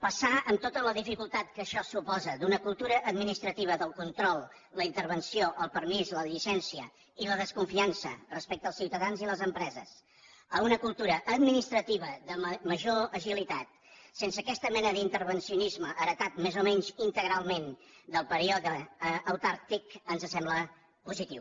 passar amb tota la dificultat que això suposa d’una cultura administrativa del control la intervenció el permís la llicència i la desconfiança respecte als ciutadans i les empreses a una cultura administrativa de major agilitat sense aquesta mena d’intervencionisme heretat més o menys integralment del període autàrquic ens sembla positiu